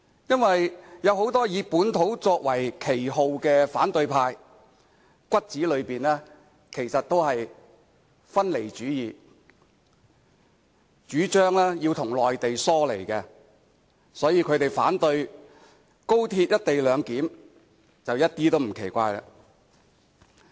因為有很多打着本土旗幟的反對派，骨子裏其實都是分離主義分子，主張要與內地疏離，所以他們反對高鐵"一地兩檢"，一點也不奇怪。